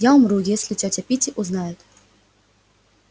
я умру если тётя питти узнает